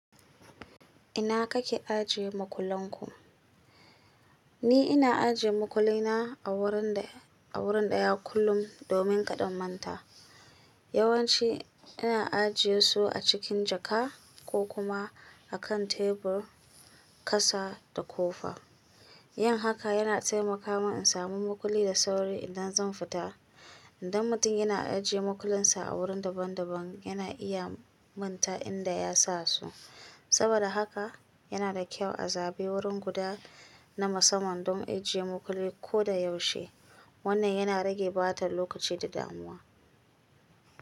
Ina kake ajiye makullen ku? Ni ina ajiye makullina a wuri daya kullum domin ƙaɗa in manta. Yawanci ina ajiye su a cikin jaka ko kuma a kan tebur, ƙasa da ƙofa. Yin haka yana taimaka min in samu makulli da sauri idan zan fita. Inda mutum yana ajiye mukullinsa a wurin daban daban yana iya manta inda ya sa su. Saboda haka yana da kyau a zaɓi wurin guda na musamman don ajiye makulli ko da yaushe. Wannan yana rage ɓatar lokaci da damuwa.